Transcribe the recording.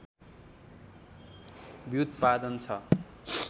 व्युत्पादन छ